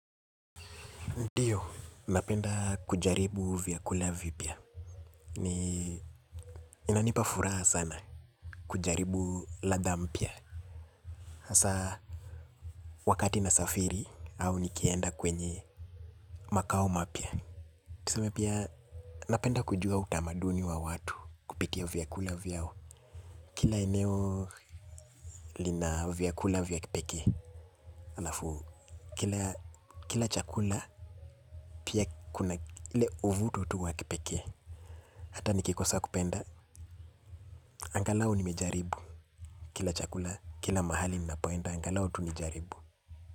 Ndiyo, napenda kujaribu vyakula vipia. Ni inanipa furaha sana kujaribu ladha mpya. Hasa wakati na safiri au nikienda kwenye makao ma pya. Tuseme pia napenda kujua utamaduni wa watu kupitia vyakula vyao. Kila eneo lina vyakula vya kipekee. Alafu, kila chakula pia kuna ule uvuto tu wa kipekee. Hata nikikosa kupenda. Angalau nimejaribu. Kila chakula, kila mahali nina poenda. Angalau tu nijaribu.